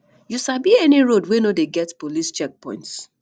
you sabi any road wey no dey get police checkpoints